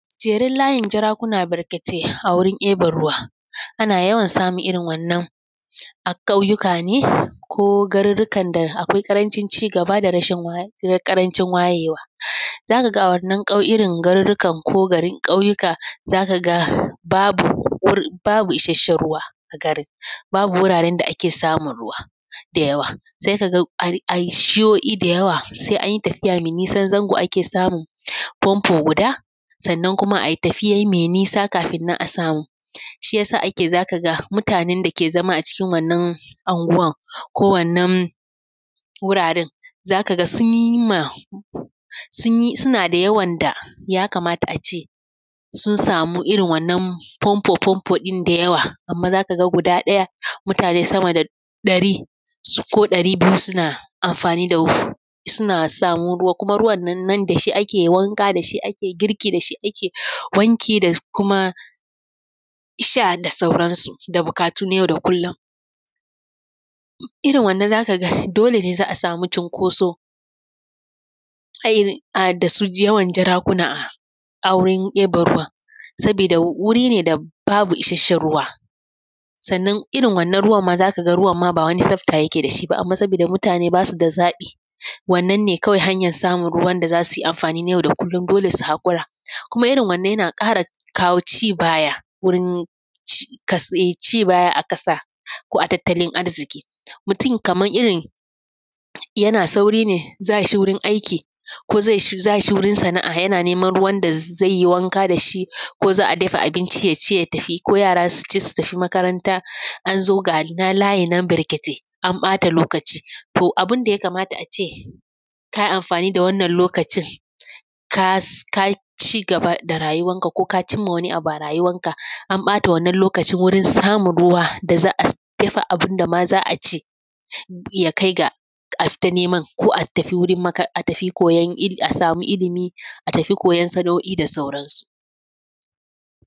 Jeren layin jarakuna barkatai a wurin ɗiban ruwa. Ana yawan samun irin wannan a ƙauyuka ne ko garurrukan da akwai ƙarancin cigaba da rashin ko ƙarancin wayewa. Za ka ga a wannan ƙau irin garurrukan ko gari ƙauyuka zaka ga babu isasshen ruwa a garin, babu wuraren da ake samun ruwa da yawa sai ka ga a yi shi’o’i da yawa sai an yi tafiya mai nisan zango ake samun famfo guda sannan kuma a yi tafiya mai nisa kafin nan a samu, shi yasa ake za ka ga mutanen da ke zama a cikin wannan anguwar ko wannan wuraren za ka ga sun yi ma, suna da yawan da ya kamata a ce sun samu irin wannan famfa famfo ɗin da yawa amma zaka ga guda ɗaya mutane sama da ɗari ko ɗari biyu suna amfani da, suna samu ruwa kuma ruwan nan da shi ake wanka, da shi ake girki, da shi ake wanki da kuma sha da sauran su, da buƙatu na yau da kullum. Irin wannan zaka ga dole za a samu cunkoso a da su yawan jarakuna a wurin ɗiban ruwa, sabida wuri ne da babu isasshen ruwa. Sannan irin wannan ruwa za ka ga ruwa ma ba wani tsabta yake da shi ba amma saboda mutane basu da zaɓi, wannan ne kawai hanyar samun ruwa na amfanin yau da kullum dole su haƙura. Kuma irin wannan yana ƙara kawo ci baya wurin cikas ci baya a ƙasa ko a tattali arziƙi, mutum kamar irin yana sauri ne za shi wurin aiki ko za shi wurin sana’a yana neman ruwan da zai yi wanka da shi ko za a dafa abinci ya ci ya tafi ko yara su ci su tafi makaranta an zo ga layi nan barketai an ɓata lokaci, toh abin da ya kamata ace ka yi amfani da wannan lokacin ka yi cigaba da rayuwar ka cimma wani abu a rayuwar ka an ɓata wannan lokacin wurin samun ruwa daza a dafa abin da ma za a ci ya kai ga a fita neman ko a tafi wurin maka a tafi koyon il asamu ilmi a tafi koyon sana’o’i da sauran su.